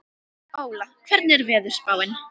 Óla, hvernig er veðurspáin?